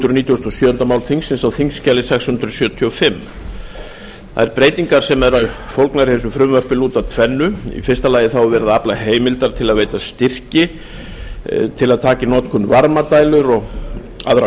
og sjöunda mál þingsins á þingskjali sex hundruð sjötíu og fimm þær breytingar sem eru fólgnar í þessu frumvarpi lúta að tvennu í fyrsta lagi er verið að afla heimilda til að veita styrki til að taka í notkun varmadælur og aðra